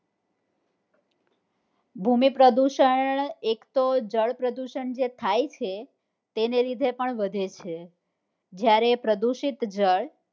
ભૂમિ પ્રદુષણ એક તો જળ પ્રદુષણ જે થાય છે તેને લીધે પણ વધે છે જયારે પ્રદુષિત જળ